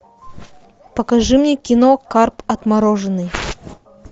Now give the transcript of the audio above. покажи мне кино карп отмороженный